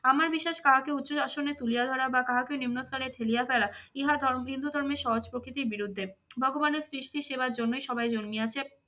আমার বিশ্বাস কাহাকে উচ্চ আসনে তুলিয়া ধরা বা কাহাকে নিম্ন স্তরে ঠেলিয়া ফেলা ইহা হিন্দু ধর্মের সহজ প্রকৃতির বিরুদ্ধে। ভগবানের সৃষ্টি সেবার জন্যই সবাই জন্মিয়াছে।